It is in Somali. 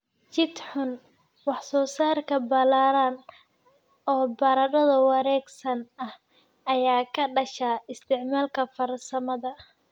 jid xun. Wax-soo-saar ballaaran oo baradho wareegsan ah ayaa ka dhasha isticmaalka farsamada